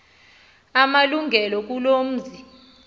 amalungelo kuloo mzi